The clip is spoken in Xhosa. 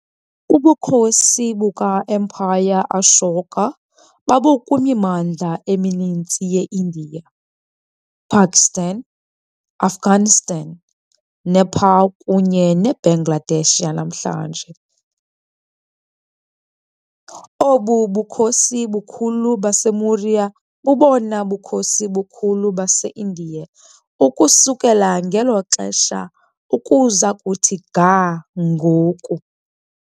Ubukhosi buka-Emperor Ashoka babukwimimandla emininzi yeIndiya, Pakistan, Afghanistan, Nepal kunye neBangladesh yanamhlanje. Obu bukhosi bukhulu baseMaurya bubobona bukhosi bukhulu baseIndiya ukusukela ngelo xesha ukuza kuthi ga ngoku.